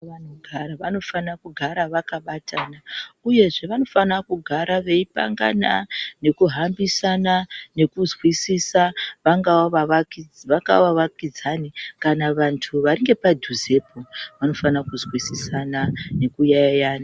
Vantu gara vanofana kugara vakabatana, uyezve vanofana kugara veipangana nekuhambisana nekuzwisisa vangava vavakidzani kana vantu vari ngepadhuzepo, vanofana kuzwisisana nekuyaiya.